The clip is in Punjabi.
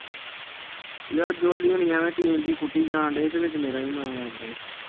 ਯਾਰ jolly ਹੁਣੀ ਐਵੇ ਟੀਨ ਜਿਹੀ ਕੁੱਟੀ ਜਾਣ ਦੇ ਵਿੱਚ ਮੇਰੇ ਨਾਮ ਵੀ ਲੱਗ ਗਿਆ।